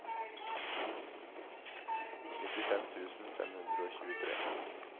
nittifem tusen fem hundre og tjuetre